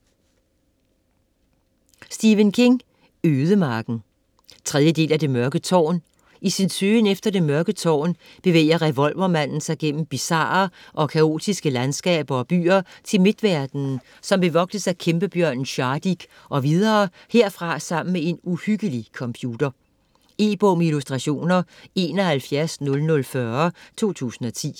King, Stephen: Ødemarken 3. del af Det mørke tårn. I sin søgen efter det Mørke Tårn bevæger revolvermanden sig gennem bizarre og kaotiske landskaber og byer til Midtverden, som bevogtes af kæmpebjørnen Shardik og videre herfra sammen med en uhyggelig computer. E-bog med illustrationer 710040 2010.